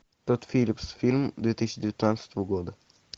тодд филлипс фильм две тысячи девятнадцатого года